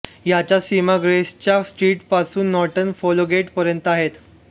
याच्या सीमा Gracechurch Street पासून नॉर्टन फोलगेट पर्यंत आहेत